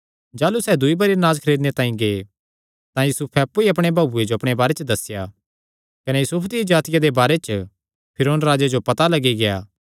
जाह़लू सैह़ दूई बरी अनाज खरीदणे तांई गै तां यूसुफैं अप्पु ई अपणे भाऊ जो अपणे बारे च दस्सेया कने यूसुफ दिया जातिया दे बारे च फिरौन राजे जो पता लग्गी गेआ